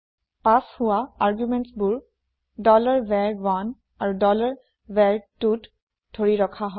পাচ হোৱা আৰ্গুমেণ্টছ বোৰ var1 আৰু var2ত ধৰি ৰখা হয়